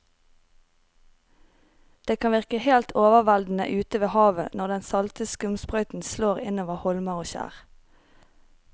Det kan virke helt overveldende ute ved havet når den salte skumsprøyten slår innover holmer og skjær.